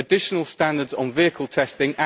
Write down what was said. additional standards on vehicle testing